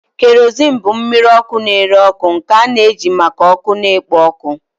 Kerosene bụ mmiri ọkụ na-ere ọkụ nke a na-eji maka ọkụ na ikpo ọkụ.